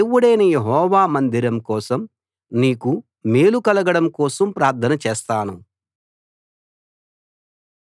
మన దేవుడైన యెహోవా మందిరం కోసం నీకు మేలు కలగడం కోసం ప్రార్థన చేస్తాను